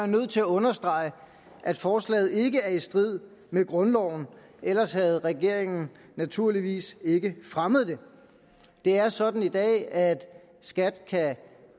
nødt til at understrege at forslaget ikke er i strid med grundloven ellers havde regeringen naturligvis ikke fremmet det det er sådan i dag at skat kan